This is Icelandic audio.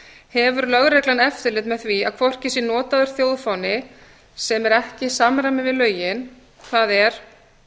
hefur lögreglan eftirlit með því að hvorki sé notaður þjóðfáni sem er ekki í samræmi við lögin það er